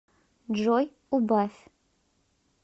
джой убавь